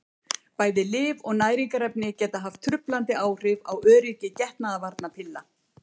Bæði lyf og næringarefni geta haft truflandi áhrif á öryggi getnaðarvarnarpilla.